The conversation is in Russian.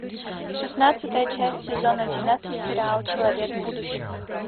шестнадцатая часть сезон одиннадцать сериал человек будущего